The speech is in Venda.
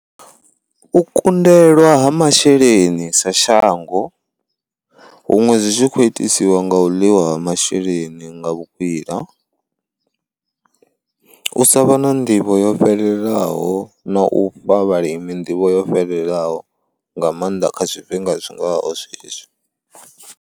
U kundelwa ha masheleni sa shango huṅwe zwi tshi kho itisiwa nga u ḽiwa masheleni nga vhukwila, u sa vha na nḓivho yo fhelelaho na u fha vhalimi nḓivho yo fhelelaho nga maanḓa kha zwifhinga zwingaho zwezwi.